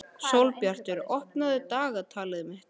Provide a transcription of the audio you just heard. Sólbjartur, opnaðu dagatalið mitt.